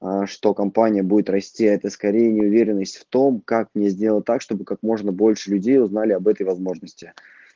а что компания будет расти это скорее неуверенность в том как мне сделать так чтобы как можно больше людей узнали об этой возможности